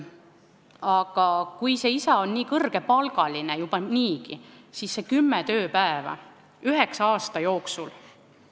Aga kui see isa on kõrgepalgaline juba niigi, siis need kümme tööpäeva üheksa aasta jooksul ...